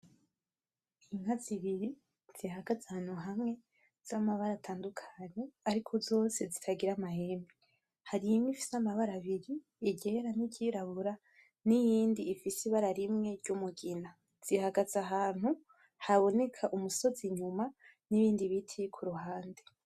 Inka zibiri zihagaze ahantu hamwe zamabara atandukanye, ariko zose zitagira amahembe. Hari imwe ifise amabara abiri iryera niryirabura niyindi ifise ibara rimwe ry'umugina zihagaze ahantu haboneka umusozi inyuma n'ibindi biti kuruhande.